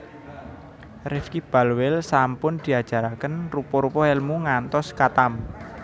Rifky Balweel sampun diajaraken rupa rupa elmu ngantos khatam